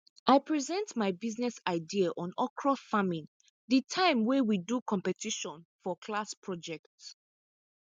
i present my business idea on okra farming the time wey we do competition for class project